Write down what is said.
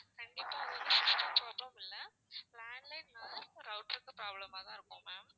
கண்டிப்பா உங்களுக்கு system problem இல்ல landline இல்லனா router ல problem மா தான் இருக்கும்